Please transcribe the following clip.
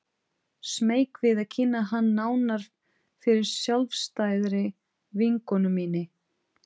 Smeyk við að kynna hann nánar fyrir sjálfstæðri vinkonu minni.